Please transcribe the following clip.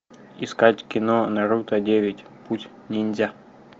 искать кино наруто девять путь ниндзя